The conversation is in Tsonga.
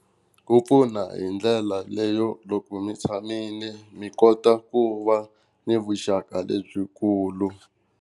Ku pfuna hi ndlela leyo loko mi tshamile mi kota ku va ni vuxaka lebyikulu.